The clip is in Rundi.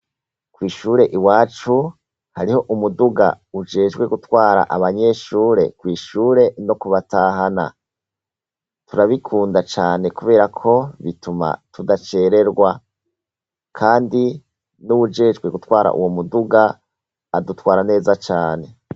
Kwishure i wacu hariho umuduga ujejwe gutwara abanyeshure kwishure no kubatahana turabikunda cane, kubera ko bituma tudacererwa, kandi n'uwujejwe gutwara uwo muduga adutwara neza cane.